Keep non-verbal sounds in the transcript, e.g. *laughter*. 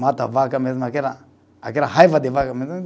Mata a vaca mesmo, aquela, aquela raiva de vaca. *unintelligible*